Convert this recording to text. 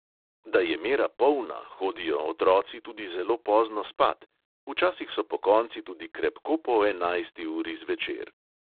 Da je mera polna, hodijo otroci tudi zelo pozno spat, včasih so pokonci tudi krepko po enajsti uri zvečer.